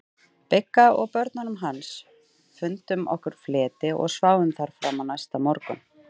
Bigga og börnunum hans, fundum okkur fleti og sváfum þar fram á næsta morgun.